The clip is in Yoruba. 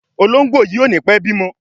Ológbòyí o ní pé bimo.